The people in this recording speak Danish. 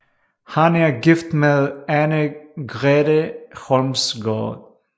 Han er gift med Anne Grete Holmsgaard